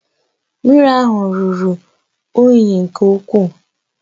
Mmiri ahụ ruru unyi nke ukwuu